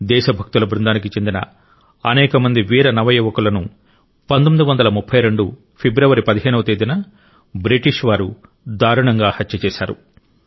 దేశభక్తుల బృందానికి చెందిన అనేక మంది వీర నవ యువకులను 1932 ఫిబ్రవరి 15 వ తేదీన బ్రిటిష్ వారు దారుణంగా హత్య చేశారు